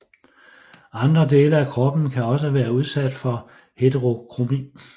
Andre dele af kroppen kan også være udsat for heterokromi